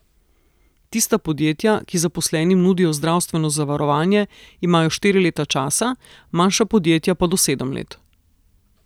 Tista podjetja, ki zaposlenim nudijo zdravstveno zavarovanje, imajo štiri leta časa, manjša podjetja pa do sedem let.